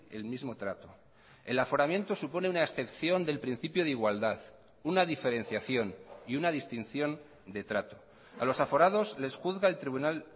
el mismo trato el aforamiento supone una excepción del principio de igualdad una diferenciación y una distinción de trato a los aforados les juzga el tribunal